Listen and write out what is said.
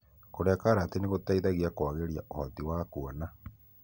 Kũria karati nĩgũteithagia kũagĩria ũhoti wa kuona.